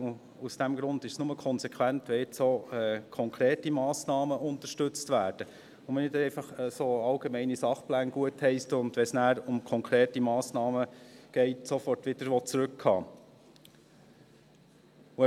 Und aus diesem Grund ist es nur konsequent, wenn jetzt auch konkrete Massnahmen unterstützt werden und man nicht einfach so allgemeine Sachpläne gutheisst, wenn es nachher um konkrete Massnahmen geht, sofort wieder zurückhalten will.